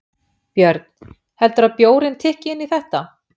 Björn: Heldurðu að bjórinn tikki inn í þetta?